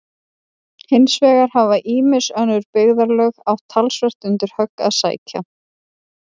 Hins vegar hafa ýmis önnur byggðarlög átt talsvert undir högg að sækja.